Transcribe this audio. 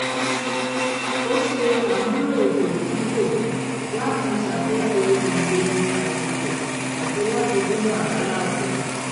ó ṣe àmúlò ètò títò láti ṣàkóso ìlò àsìkò àti láti dín wàhálà kù